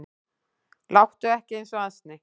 Láttu ekki eins og asni